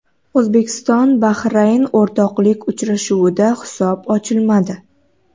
O‘zbekiston Bahrayn o‘rtoqlik uchrashuvida hisob ochilmadi.